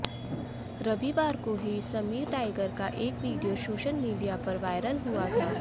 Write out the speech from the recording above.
रविवार को ही समीर टाइगर का एक वीडियो सोशल मीडिया पर वायरल हुआ था